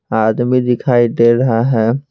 आदमी दिखाई दे रहा है।